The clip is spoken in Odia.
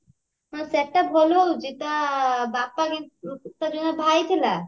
ସେଟା ଭଲ ଦଉଛି ତା ବାପା ତାର ଯୋଉ ଭାଇ ଥିଲା